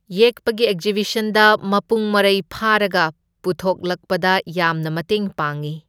ꯌꯦꯛꯄꯒꯤ ꯑꯦꯛꯖꯤꯕꯤꯁꯟꯗ ꯃꯄꯨꯡ ꯃꯔꯩ ꯐꯥꯔꯒ ꯄꯨꯊꯣꯛꯂꯛꯄꯗ ꯌꯥꯝꯅ ꯃꯇꯦꯡ ꯄꯥꯡꯏ꯫